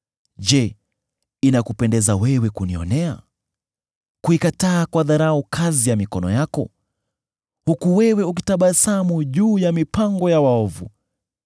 Je, inakupendeza wewe kunionea, kuikataa kwa dharau kazi ya mikono yako, huku wewe ukitabasamu juu ya mipango ya waovu?